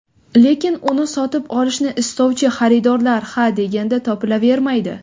Lekin uni sotib olishni istovchi xaridorlar ha deganda topilavermaydi.